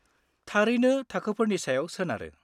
-थारैनो थाखोफोरनि सायाव सोनारो।